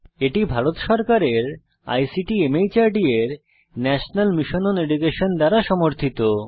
এটি ভারত সরকারের আইসিটি মাহর্দ এর ন্যাশনাল মিশন ওন এডুকেশন দ্বারা সমর্থিত